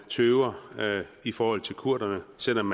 tøver i forhold til kurderne selv om